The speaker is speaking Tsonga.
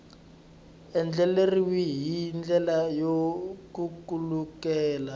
andlariwile hi ndlela yo khulukelana